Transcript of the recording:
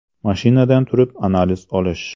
Mashinadan turib analiz olish.